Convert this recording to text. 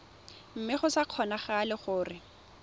mme go sa kgonagale gore